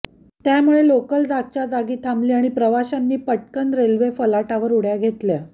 त्यामुळे लोकल जागच्याजागी थांबली आणि प्रवाशांनी पटकन रेल्वे फलाटावर उड्या घेतल्या